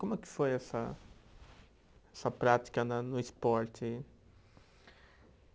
Como é que foi essa essa prática na, no esporte?